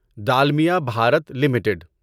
Dalmia Bharat limited